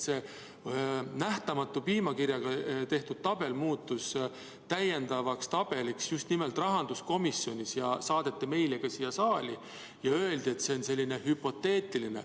See nähtamatu piimakirjaga tehtud tabel muutus täiendavaks tabeliks just nimelt rahanduskomisjonis, see saadeti meile ka siia saali ja öeldi, et see on hüpoteetiline.